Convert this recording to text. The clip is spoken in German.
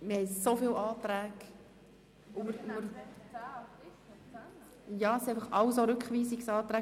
Es liegen dermassen viele Anträge vor, und es handelt sich um Rückweisungsanträge.